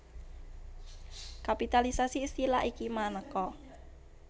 Kapitalisasi istilah iki manéka